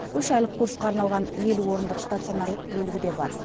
үш айлық курсқа арналған елу орындық станционарлық бөлігі де бар